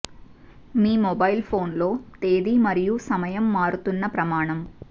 మీ mobile phone లో తేదీ మరియు సమయం మారుతున్న ప్రమాణం